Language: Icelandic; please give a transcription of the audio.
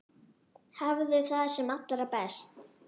Hafðu það sem allra best.